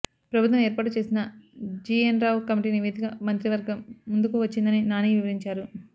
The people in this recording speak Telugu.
ప్రభుత్వం ఏర్పాటు చేసిన జీఎన్ రావు కమిటీ నివేదిక మంత్రివర్గం ముందుకువచ్చిందని నాని వివరించారు